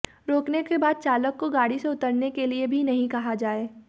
रोकने के बाद चालक को गाड़ी से उतरने के लिए भी नहीं कहा जाए